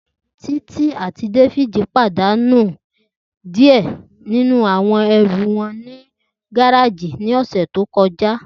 Titi ati David padanu diẹ ninu awọn ẹru wọn ni gareji ni ọsẹ to kọja.